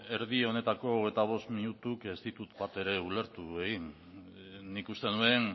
erdi honetako hogeita bost minutu ez ditut bat ere ulertu egin nik uste nuen